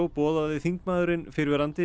boðaði þingmaðurinn fyrrverandi